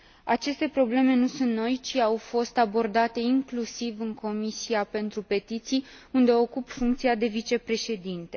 Aceste probleme nu sunt noi, ci au fost abordate inclusiv în Comisia pentru petiții, unde ocup funcția de vicepreședinte.